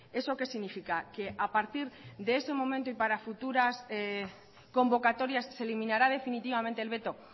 eso qué significa que a partir de ese momento y para futuras convocatorias se eliminará definitivamente el veto